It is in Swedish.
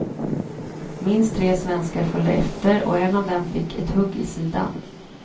Minst tre svenskar följde efter, och en av dem fick ett hugg i sidan.